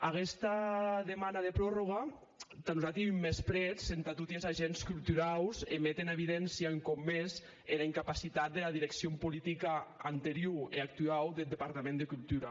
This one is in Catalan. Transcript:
aguesta demana de prorròga tà nosati ei un mensprètz entà toti es agents culturaus e met en evidéncia un còp mès era incapacitat dera direccion politica anteriora e actuau deth departament de cultura